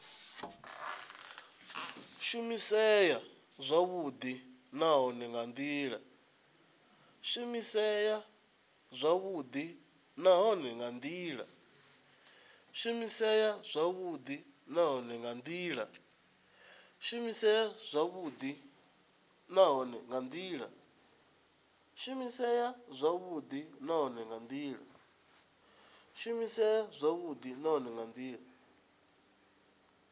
shumisea zwavhudi nahone nga ndila